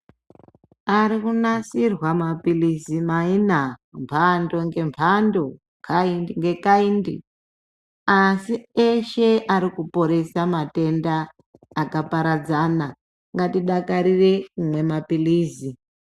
Arikunasirwa maphirizi maina mhando ngemhando kaindi ngekaindi. Asi eshe arikuporesa matenda akaparadzana ngatidakarire kumwa maphirizi.